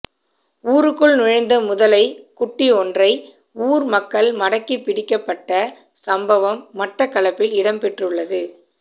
ஊருக்குள் நுழைந்த முதலை குட்டியொன்றை ஊர் மக்கள் மடக்கி பிடிக்கப்பட்ட சம்பவம் மட்டக்களப்பில் இடம்பெற்றுள்ளது